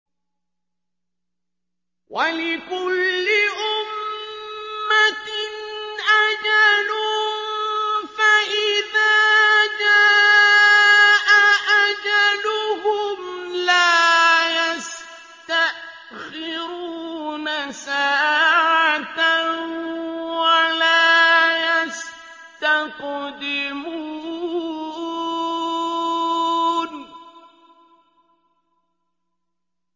وَلِكُلِّ أُمَّةٍ أَجَلٌ ۖ فَإِذَا جَاءَ أَجَلُهُمْ لَا يَسْتَأْخِرُونَ سَاعَةً ۖ وَلَا يَسْتَقْدِمُونَ